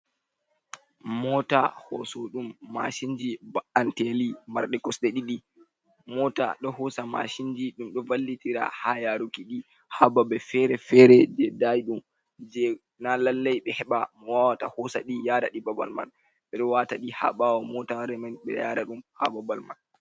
Mota hosuɗum mashin ji ba'anteli marɗi kosɗe ɗiɗi. Mota ɗo hoosa mashin ji. Ɗum ɗo wallitira haa yaaruki ɗi haa babe feere-feere je daiɗum, je na lallai ɓe heɓa mo wawata hoosa ɗi yara ɗi babal man. Ɓe ɗo wata ɗi haa ɓawo motare man, ɓe yaara ɗum haa babal man.